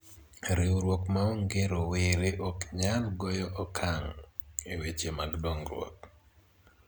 riwruok maonge rowere ok nyal goyo okang' e weche mag dongruok